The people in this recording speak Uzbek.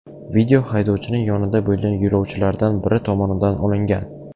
Video haydovchining yonida bo‘lgan yo‘lovchilardan biri tomonidan olingan.